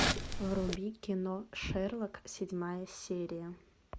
вруби кино шерлок седьмая серия